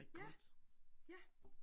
Ja ja